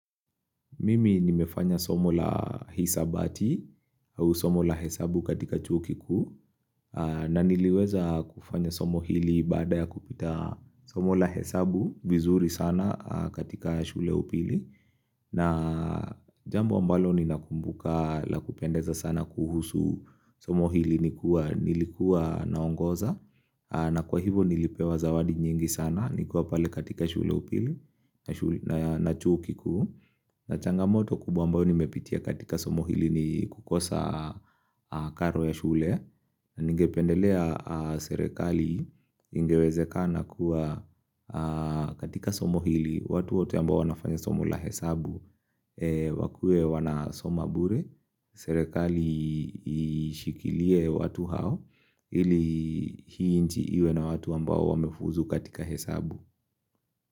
Mimi nimefanya somo la hisabati au somo la hesabu katika chuo kikuu na niliweza kufanya somo hili baada ya kupita somo la hesabu vizuri sana katika shule ya upili na jambo ambalo ninakumbuka la kupendeza sana kuhusu somo hili nikuwa nilikuwa naongoza na kwa hivo nilipewa zawadi nyingi sana nikiwa pale katika shule ya upili na chuo kikuu, na changamoto kubwa ambayo nimepitia katika somo hili ni kukosa karo ya shule na ningependelea serikali ingewezekana kuwa katika somo ili watu wote ambao wanafanya somo la hesabu, wakuwe wanasoma bure, serikali ishikilie watu hao ili hii nchi iwe na watu ambao wamefuzu katika hesabu.